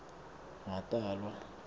ngatalwa